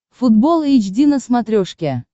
футбол эйч ди на смотрешке